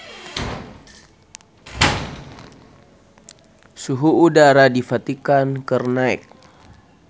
Suhu udara di Vatikan keur naek